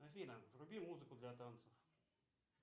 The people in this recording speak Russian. афина вруби музыку для танцев